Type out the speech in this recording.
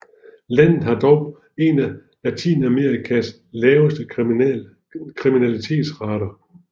Landet har dog en af Latinamerikas laveste kriminalitetsrater